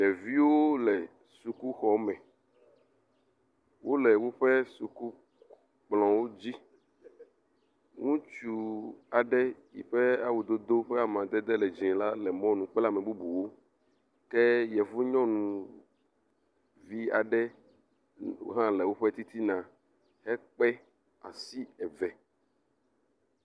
Ɖeviwo le sukuxɔme. Wo le woƒe sukukplɔwo dzi. Ŋutsu aɖe yi ƒe awudodo ƒe amadede le dzi la le mɔnu kple ame bubuwo ke yevu nyɔnuvi aɖe hã le woƒe titina hekpe asi eve.